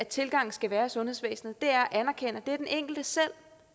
tilgangen skal være i sundhedsvæsenet er at anerkende at den enkelte selv